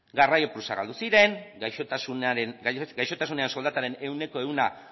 garraio plusak galdu ziren gaixotasunean soldataren ehuneko ehun